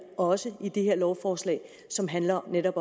også i det her lovforslag som handler om netop